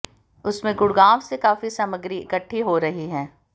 उसमें गुडगांव से काफी सामग्री इकट्ठी हो रही है